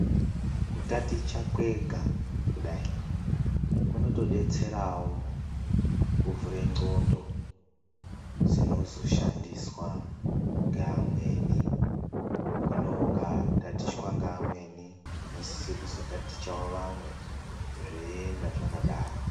Kutaticha kwega kudai ,kunotodetserao kuvhure ndxondo dzinozoshandiswa ngevamweni .Hino, ukatatichwa ngevamweni usokuzotatichawo vamwe zveienda zvakadaro.